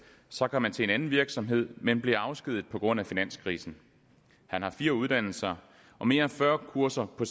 så kom han til en anden virksomhed men blev afskediget på grund af finanskrisen han har fire uddannelser og mere end fyrre kurser på